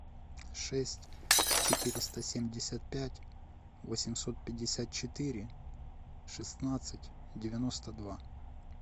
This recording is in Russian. шесть четыреста семьдесят пять восемьсот пятьдесят четыре шестнадцать девяносто два